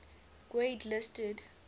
grade listed